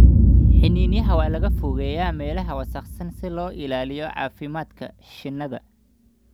Xiniinyaha waa in laga fogeeyaa meelaha wasakhaysan si loo ilaaliyo caafimaadka shinnida.